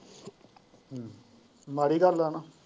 ਮਾੜੀ ਗੱਲ ਹੈ ਨਾ।